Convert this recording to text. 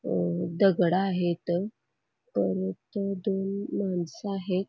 या दगड आहेत परत दोन मानस आहेत.